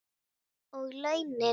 Og launin?